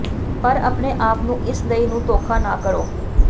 ਪਰ ਆਪਣੇ ਆਪ ਨੂੰ ਇਸ ਲਈ ਨੂੰ ਧੋਖਾ ਨਾ ਕਰੋ